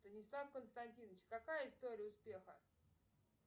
станислав константинович какая история успеха